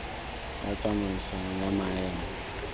ya tsamaisano ya maemo a